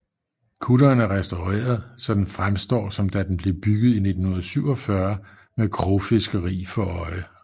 Kutteren er restaureret så den fremstår som da den blev bygget i 1947 med krogfiskeri for øje